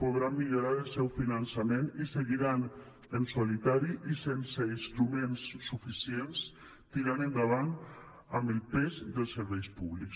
podran millorar el seu finançament i seguiran en solitari i sense instruments suficients tirant endavant amb el pes dels serveis públics